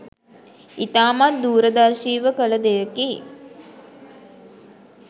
ඉතාමත් දූරදර්ශීව කළ දෙයකි